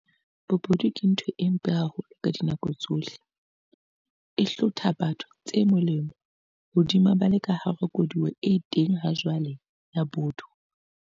Bobodu ke ntho e mpe haholo ka dinako tsohle, e hlotha batho tse molemo hodima ba le ka hara koduwa e teng hajwale ya botho.